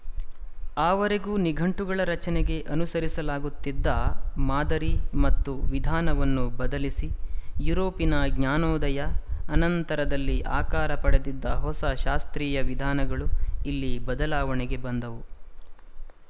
ಆವರೆಗೂ ನಿಘಂಟುಗಳ ರಚನೆಗೆ ಅನುಸರಿಸಲಾಗುತ್ತಿದ್ದ ಮಾದರಿ ಮತ್ತು ವಿಧಾನವನ್ನು ಬದಲಿಸಿ ಯುರೋಪಿನ ಜ್ಞಾನೋದಯದ ಅನಂತರದಲ್ಲಿ ಆಕಾರ ಪಡೆದಿದ್ದ ಹೊಸ ಶಾಸ್ತ್ರೀಯ ವಿಧಾನಗಳು ಇಲ್ಲಿ ಬದಲಾವಣೆಗೆ ಬಂದವು